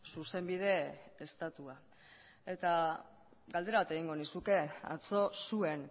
zuzenbide estatua galdera bat egingo nizuke atzo zuen